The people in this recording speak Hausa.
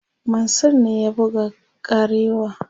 Mansur ne ya buga kareawa